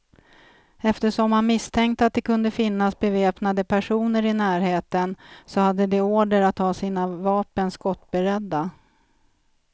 Eftersom man misstänkte att det kunde finnas beväpnade personer i närheten, så hade de order att ha sina vapen skottberedda.